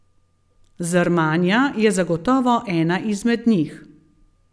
Zrmanja je zagotovo ena izmed njih.